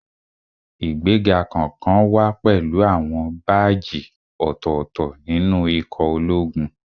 Ìgbéga kọ̀ọ̀kan wá pẹ̀lú àwọn báàjì ọ̀tọ̀ọ̀tọ̀ nínú ikọ̀ ológun